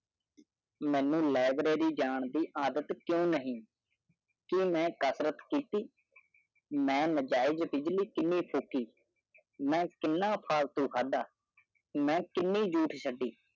ਮੇਨੂ library ਜਾਰ ਦੀ ਆਦਤ ਕਿਉੰ ਕਿਉੰ ਕਿਉੰ ਕਿਉੰ ਕਿਉੰ ਮੈਂ ਕਸਰਤ ਕਿਉੰ ਨਜਾਇਜ਼ ਡਿਗਰੇ ਨਹੀ ਚਾਹੀ ਮਾਂ ਕਿਤਨਾ ਫਲੂ ਖਾੜ ਮਾਂ ਕਿੰਨੀ ਸੋਟੀ